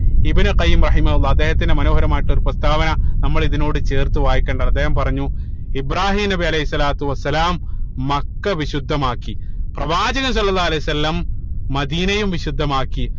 ഇബിനു ഖൈമ റഹിമഉല്ലാഹ് അദ്ദേഹത്തിന്റെ മനോഹരമായിട്ടുള്ള ഒരു പ്രസ്താവന നമ്മള് ഇതിനോട് ചേർത്ത് വായിക്കേണ്ടതാണ് അദ്ദേഹം പറഞ്ഞു ഇബ്രാഹീം നബി അലൈഹി സ്വലാത്തു വസ്സലാം മക്ക വിശുദ്ധമാക്കി പ്രവാചക സ്വല്ലള്ളാഹു അലൈഹി വസല്ലം മദീനയും വിശുദ്ധമാക്കി